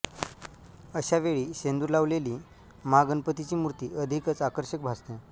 अशा वेळी शेंदूर लावलेली महागणपतीची मूर्ती अधिकच आकर्षक भासते